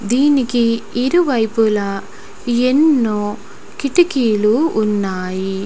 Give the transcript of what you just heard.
దీనికి ఇరు వైపులా ఎన్నో కిటికీలు ఉన్నాయి.